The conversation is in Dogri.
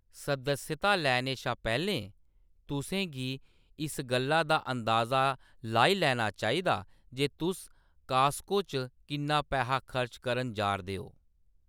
सदस्यता लैने शा पैह्‌‌‌लें, तुसें गी इस गल्ला दा अंदाजा लाई लैना चाहिदा जे तुस कास्को च किन्ना पैहा खर्च करन जा’रदे ओ।